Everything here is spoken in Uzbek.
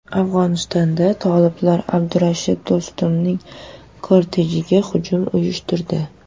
Afg‘onistonda toliblar Abdulrashid Do‘stumning kortejiga hujum uyushtirdi.